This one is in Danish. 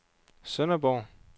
Sønderborg